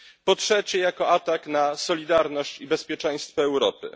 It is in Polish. Po trzecie, jako atak na solidarność i bezpieczeństwo Europy.